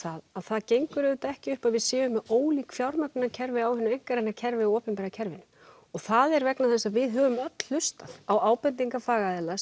að það gengur ekki upp að við séum ólík fjármögnunarkerfi á hina einkarekna kerfi og opinbera kerfinu og það er vegna þess að við höfum öll hlustað á ábendingar fagaðila